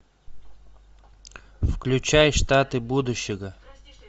включай штаты будущего